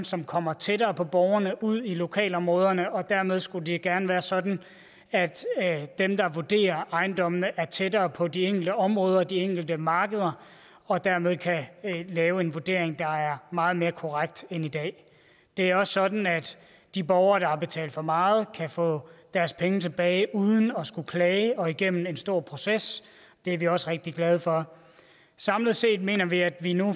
som kommer tættere på borgerne ud i lokalområderne og dermed skulle det gerne være sådan at dem der vurderer ejendommene er tættere på de enkelte områder de enkelte markeder og dermed kan lave en vurdering der er meget mere korrekt end i dag det er også sådan at de borgere der har betalt for meget kan få deres penge tilbage uden at skulle klage og igennem en stor proces det er vi også rigtig glade for samlet set mener vi at vi nu